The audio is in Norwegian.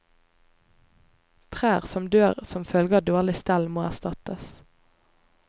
Trær som dør som følge av dårlig stell må erstattes.